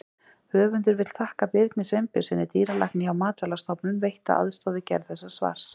Höfundur vill þakka Birni Steinbjörnssyni, dýralækni hjá Matvælastofnun, veitta aðstoð við gerð þessa svars.